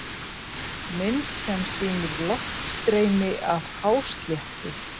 Mynd sem sýnir loftstreymi af hásléttu.